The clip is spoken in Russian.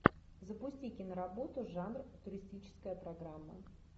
запусти киноработу жанр туристическая программа